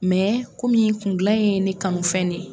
Mɛ ko min kun dilan in ye ne kanu fɛn de ye.